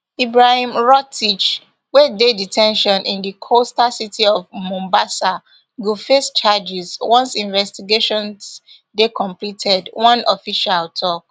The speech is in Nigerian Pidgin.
ibrahim rotich wey dey de ten tion in di coastal city of mombasa go face charges once investigations dey completed one official tok